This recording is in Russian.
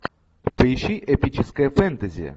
поищи эпическое фэнтези